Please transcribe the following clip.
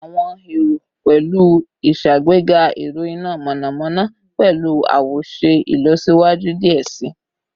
Awọn ero pẹlu iṣagbega ẹrọ ina mọnamọna pẹlu awoṣe ilọsiwaju diẹ sii